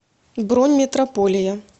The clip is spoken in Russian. бронь метрополия